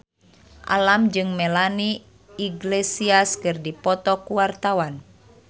Alam jeung Melanie Iglesias keur dipoto ku wartawan